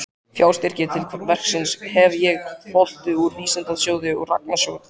Fjárstyrki til verksins hef ég hlotið úr Vísindasjóði og Rannsóknarsjóði